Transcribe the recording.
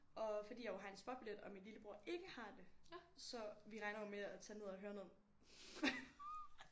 Og fordi jeg jo har en spotbillet og min lillebror ikke har det så vi regner jo med at tage ned og høre noget